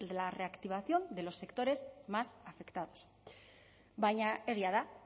la reactivación de los sectores más afectados baina egia da